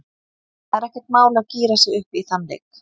Það er ekkert mál að gíra sig upp í þann leik.